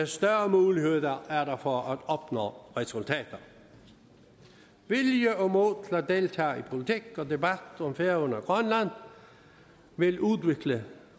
større mulighed er der for at opnå resultater vilje og mod til at deltage i politik og debat om færøerne og grønland vil udvikle